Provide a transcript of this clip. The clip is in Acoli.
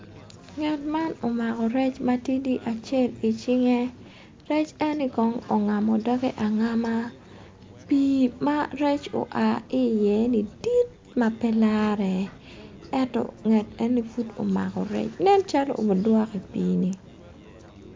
Nget man omako rec matidi acel i cinge rec eni kong ongamo dogge angama pii ma rec oa ki iye-ni dit ma pe lare eto nget eno ni pud omako rec nen calo pud obudwoko i pii-ni